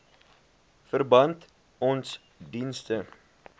verband ons dienste